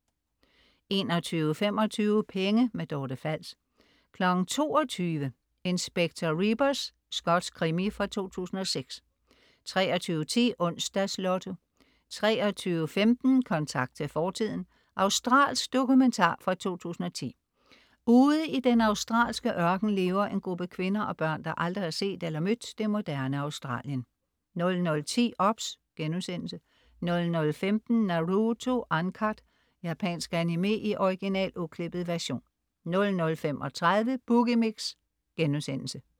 21.25 Penge. Dorte Fals 22.00 Inspector Rebus. Skotsk krimi fra 2006 23.10 Onsdags Lotto 23.15 Kontakt til fortiden. Australsk dokumentar fra 2010. Ude i den australske ørken lever en gruppe kvinder og børn, der aldrig har set eller mødt det moderne Australien 00.10 OBS* 00.15 Naruto Uncut. Japansk animé i original, uklippet version 00.35 Boogie Mix*